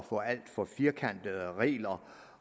få alt for firkantede regler